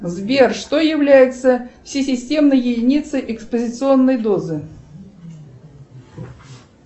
сбер что является всесистемной единицей экспозиционной дозы